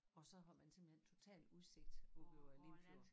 Og så har man simpelthen total udsigt over Limfjorden